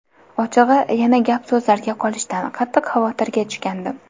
Ochig‘i, yana gap-so‘zlarga qolishdan qattiq xavotirga tushgandim.